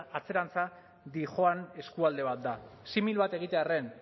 atzerantza dihoan eskualde bat da simil bat egitearren